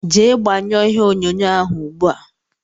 Jee gbanyuo ìhè onyonyo ahụ ùgbúà!!!!